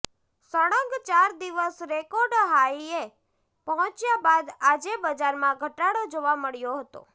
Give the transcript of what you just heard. સળંગ ચાર દિવસ રેકોર્ડ હાઈએ પહોંચ્યા બાદ આજે બજારમાં ઘટાડો જોવા મળ્યો હતો